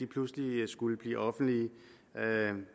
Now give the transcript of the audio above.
pludselig skulle blive offentlige